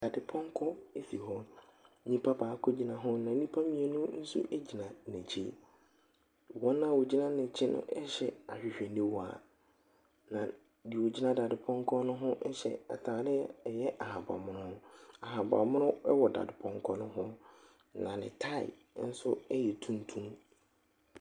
Dadepɔnkɔ si hɔ. Nnipa baako gyina ho na nnipa mmienu nso gyina n'akyi. Wɔn a wɔgyina n'akyi no hyɛ ahwehwɛniwa, na deɛ ɔgyina dadepɔnkɔ no ho hyɛ atade ɛyɛ ahaban mono. Ahaban mono wɔ dadepɔnkɔ no ho, na ne tae nso yɛ tuntum.